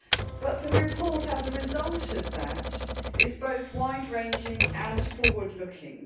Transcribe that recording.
But the report, as a result of that, is both wide ranging and forward looking.